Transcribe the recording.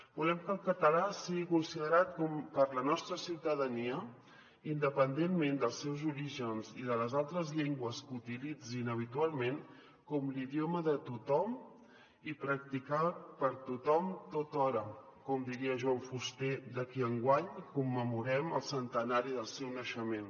volem que el català sigui considerat per la nostra ciutadania independentment dels seus orígens i de les altres llengües que utilitzin habitualment com l’idioma de tothom i practicat per tothom tothora com diria joan fuster de qui enguany commemorem el centenari del seu naixement